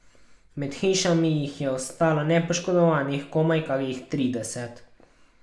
Med hišami jih je ostalo nepoškodovanih komaj kakih trideset.